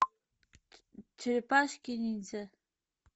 черепашки ниндзя